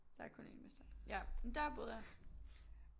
Der er kun en mester ja men der boede jeg